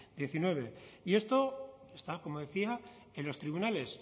hemeretzi y esto está como decía en los tribunales